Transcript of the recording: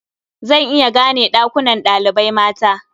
Zan iya gane ɗakunan ɗalibai mata.